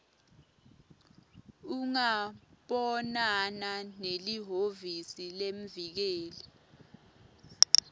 ungabonana nelihhovisi lemvikeli